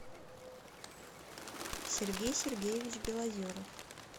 сергей сергеевич белозеров